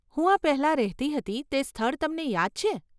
હું આ પહેલાં રહેતી હતી તે સ્થળ તમને યાદ છે?